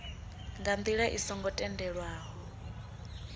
nga ndila i songo tendelwaho